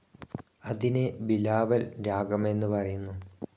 അതിനെ ബിലാവൽ രാഗമെന്നു പറയുന്നു.